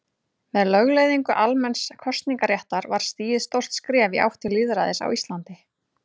Með lögleiðingu almenns kosningaréttar var stigið stórt skref í átt til lýðræðis á Íslandi.